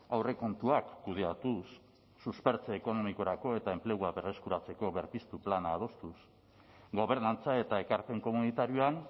aurrekontuak kudeatuz suspertze ekonomikorako eta enplegua berreskuratzeko berpiztu plana adostuz gobernantza eta ekarpen komunitarioan